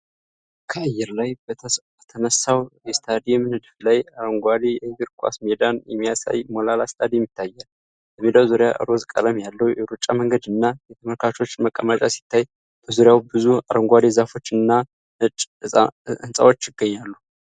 ከአየር ላይ በተነሳው የስታዲየም ንድፍ ላይ አረንጓዴ የእግር ኳስ ሜዳን የሚያሳይ ሞላላ ስታዲየም ይታያል። በሜዳው ዙሪያ ሮዝ ቀለም ያለው የሩጫ መንገድ እና የተመልካቾች መቀመጫ ሲታይ፣ በዙሪያውም ብዙ አረንጓዴ ዛፎች እና ነጭ ሕንጻዎች ይገኛሉ።